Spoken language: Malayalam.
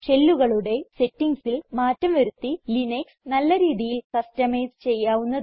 ഷെല്ലുകളുടെ സെറ്റിംഗ്സിൽ മാറ്റം വരുത്തി ലിനക്സ് നല്ല രീതിയിൽ കസ്റ്റമൈസ് ചെയ്യാവുന്നതാണ്